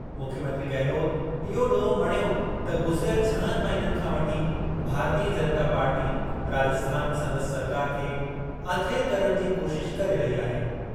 मुख्यमंत्री गहलोत इहो ॾोहु मणियो त गुज़िरियल छहनि महिननि खां वठी भारतीय जनता पार्टी राजस्थान में संदसि सरकार खे अथिरु करण जी कोशिश करे रही आहे।